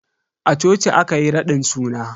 A coci aka yi raɗin suna.